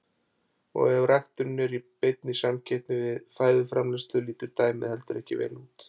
Og ef ræktunin er í beinni samkeppni við fæðuframleiðslu lítur dæmið heldur ekki vel út.